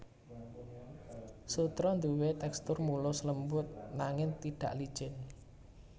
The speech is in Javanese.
Sutra duwé tèkstur mulus lembut nanging tidak licin